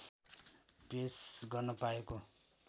पेस गर्न पाएको